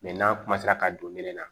n'an ka don minɛn na